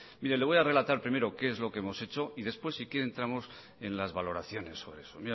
mire le voy a relatar primero qué es lo que hemos hecho y después si quiere entramos en las valoraciones sobre eso